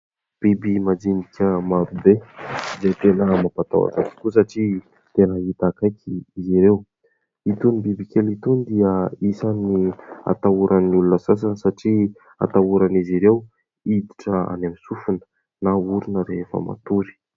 Biby madinika marobe dia tena mampatahotra tokoa satria tena hita akaiky izy ireo. Itony biby kely itony dia isany atahoran'ny olona sasany satria atahorana'izy ireo hiditra any amin'ny sofina na orona rehefa matory.